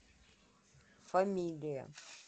фамилия